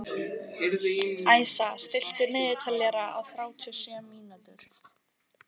Æsa, stilltu niðurteljara á þrjátíu og sjö mínútur.